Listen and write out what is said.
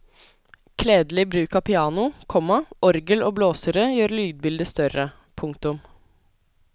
Kledelig bruk av piano, komma orgel og blåsere gjør lydbildet større. punktum